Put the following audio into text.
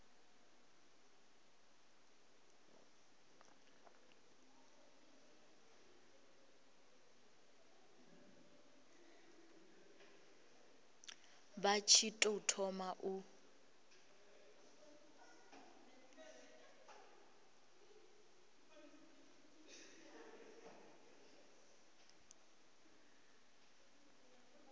vha tshi tou thoma u